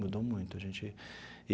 Mudou muito a gente.